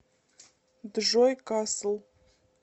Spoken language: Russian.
джой касл